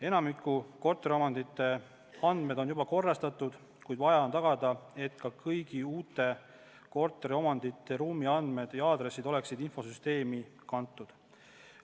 Enamiku korteriomandite andmed on juba korrastatud, kuid vaja on tagada, et ka kõigi uute korteriomandite ruumiandmed ja aadressid oleksid infosüsteemi kantud.